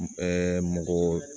mɔgɔ